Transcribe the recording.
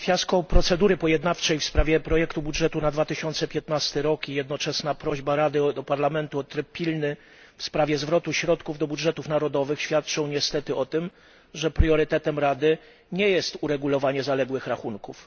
Fiasko procedury pojednawczej w sprawie projektu budżetu na rok 2015 i jednoczesna prośba Rady do Parlamentu o pilny tryb w sprawie zwrotu środków do budżetów narodowych świadczą niestety o tym, że priorytetem Rady nie jest uregulowanie zaległych rachunków.